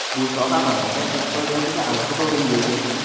Bu soha mamlakat iqtisodiyotida alohida o‘ringa ega.